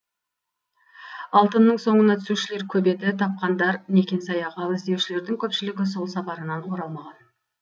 алтынның соңына түсушілер көп еді тапқандар некен саяқ ал іздеушілердің көпшілігі сол сапарынан оралмаған